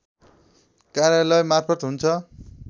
कार्यालयमार्फत हुन्छ